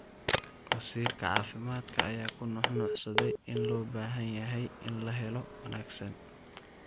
Wasiirka caafimaadka ayaa ku nuux nuuxsaday in loo baahan yahay in la helo wanaagsan.